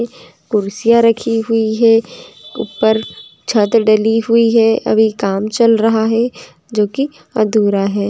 कुर्सियां राखी हुए है। ऊपर छत डली हुए है। अभी काम चल रहा है। जो की अधूरा है।